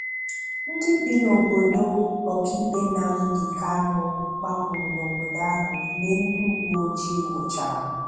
Ndị bi n'obodo ọka ikpe Nnamdị Kanụ gbapụrụ n'obodo ahụ mgbe ndị uwe ojii nwụchara.